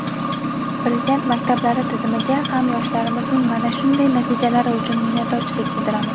Prezident maktablari tizimiga ham yoshlarimizning mana shunday natijalari uchun minnatdorchilik bildiramiz.